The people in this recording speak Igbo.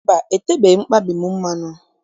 Mba, etebeghị m mkpabi m mmanụ.